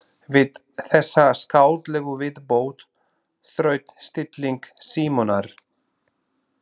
Við þessa skáldlegu viðbót þraut stilling Símonar.